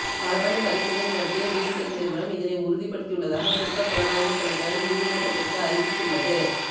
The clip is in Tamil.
மரபணு பரிசோதனை நடத்திய ஜீன் டெக் நிறுவனம் இதனை உறுதிப்படுத்தியுள்ளதாக குற்றப்புலனாய்வுத் திணைக்களம் நீதிமன்றத்திற்கு அறிவித்துள்ளது